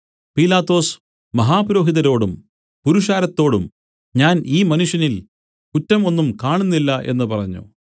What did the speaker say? പീലാത്തോസ് മഹാപുരോഹിതരോടും പുരുഷാരത്തോടും ഞാൻ ഈ മനുഷ്യനിൽ കുറ്റം ഒന്നും കാണുന്നില്ല എന്നു പറഞ്ഞു